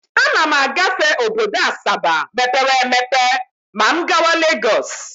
Ana m agafe obodo Asaba mepere emepe ma m gawa Legọs.